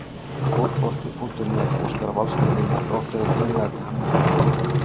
Fótbolti.net óskar Valsmönnum og Þrótturum innilega til hamingju með árangurinn.